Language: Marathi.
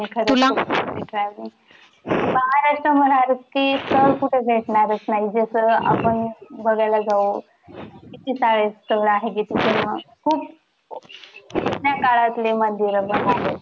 खरच खुप आवडते travelling महाराष्ट्र ती स्थळ कुठेच भेटनारच नाही. जस आपण बघायला जाऊ किती सारे स्थळ आहे. खुप जुण्याकाळातली मंदिरं पण आहेत.